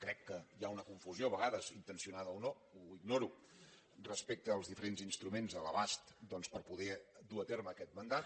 crec que hi ha una confusió a vegades intencionada o no ho ignoro respecte als diferents instruments a l’abast doncs per poder dur a terme aquest mandat